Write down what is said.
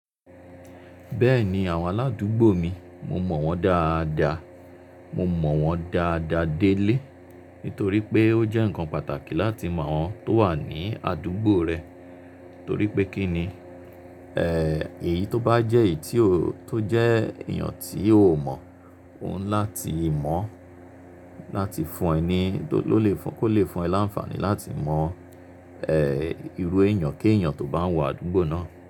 Bẹ́ẹ̀ni àwọn aládúgbò mi, mo mọ̀ wọ́n dáadáa, mo mọ̀ wọ́n dáadáa délé nítorí pé ó jẹ́ ǹkan pàtàkì láti mawọ́n tó wà ní àdúgbò rẹ torí pé kíni, eh, èyíi tó bá jẹ́ èyí tí o, tó jẹ́ èèyàn tí o o mọ̀, ò ńi láti mọ̀ o láti fún ẹ ní, do lole fo, kó lè fún ẹ láǹfààní láti mọ̀ eh irú èèyànkéèyàn tó bá ń wọ àdúgbò náà.